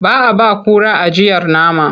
Ba a ba kura ajiyar nama.